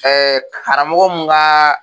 karamɔgɔ mun ka